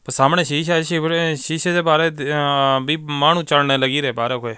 ਸਾਹਮਣੇ ਸ਼ੀਸ਼ਾ ਆ ਸ਼ੀਸ਼ਾ ਤੇ ਪਾਰੋ ਮਾਹਣੋ ਚੜਣ ਲੱਗਰੀ ਬਾਹਰੋ --